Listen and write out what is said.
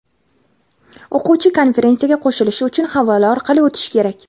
O‘quvchi konferensiyaga qo‘shilishi uchun havola orqali o‘tishi kerak.